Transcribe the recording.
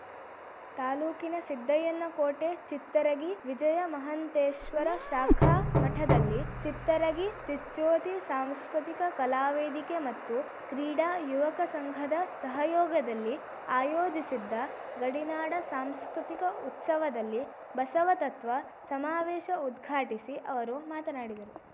ತಾಲೂಕಿನ ಸಿದ್ದಯ್ಯನ ಕೋಟೆ ಚಿತ್ತರಗಿ ವಿಜಯ ಮಹಂತೇಶ್ವರ ಶಾಖಾ ಮಠದಲ್ಲಿ ಚಿತ್ತರಗಿ ಚಿಚ್ಜ್ಯೋತಿ ಸಾಂಸ್ಕೃತಿಕ ಕಲಾವೇದಿಕೆ ಮತ್ತು ಕ್ರೀಡಾ ಯುವಕ ಸಂಘದ ಸಹಯೋಗದಲ್ಲಿ ಆಯೋಜಿಸಿದ್ದ ಗಡಿನಾಡ ಸಾಂಸ್ಕೃತಿಕ ಉತ್ಸವದಲ್ಲಿ ಬಸವ ತತ್ವ ಸಮಾವೇಶ ಉದ್ಘಾಟಿಸಿ ಅವರು ಮಾತನಾಡಿದರು